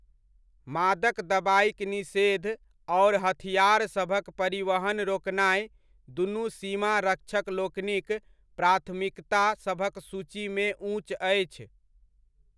मादक दबाइक निषेध आओर हथिआरसभक परिवहन रोकनाय, दुनु, सीमा रक्षक लोकनिक प्राथमिकता सभक सूचीमे ऊँच अछि।